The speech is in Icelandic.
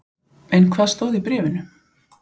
En hvað stóð í bréfinu?